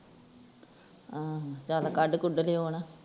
ਹਾਂ ਚਲ ਕਢ ਕੂੜ ਲਓ ਹੈ ਨਾ